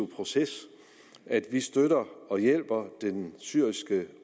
proces at vi støtter og hjælper den syriske